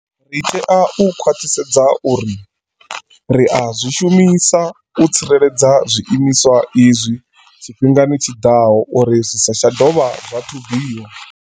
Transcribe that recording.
Ri tea u khwaṱhisedza uri ri a zwi shumisa u tsireledza zwi imiswa izwi tshifhingani tshi ḓaho uri zwi sa tsha dovha zwa thubiwa.